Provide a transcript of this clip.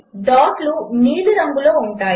డాట్లు నీలి రంగులో ఉన్నాయి